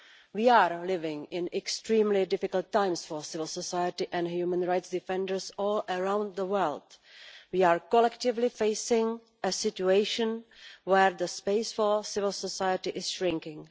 We are living in extremely difficult times for civil society and human rights defenders all around the world. We are collectively facing a situation where the space for civil society is shrinking.